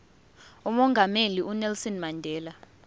umongameli unelson mandela